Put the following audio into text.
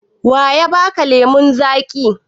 Wa ya ba ka lemon zaƙi?